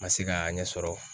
Ma se k'a ɲɛ sɔrɔ.